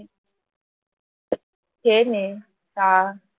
খেয়ে নে চা